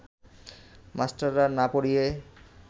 মাস্টাররা না পড়িয়ে